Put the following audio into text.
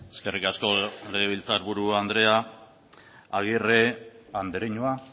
eskerrik asko legebiltzarburu andrea agirre andereñoa